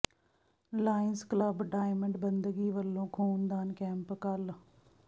Lions Club Diamond ਬੰਦਗੀ ਵੱਲੋਂ ਖ਼ੂਨ ਦਾਨ ਕੈਂਪ ਕੱਲ੍ਹ